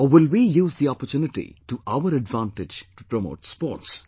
Or will we use the opportunity to our advantage to promote sports